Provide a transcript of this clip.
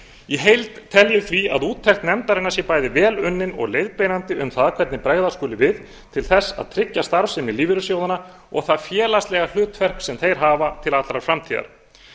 í heild tel ég því að úttekt nefndarinnar sé bæði vel unnin og leiðbeinandi um það hvernig bregðast skuli við til að tryggja starfsemi lífeyrissjóðanna og það félagslega hlutverk sem þeir hafa til allrar framtíðar